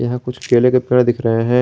यहां कुछ केले के पेड़ दिख रहा है।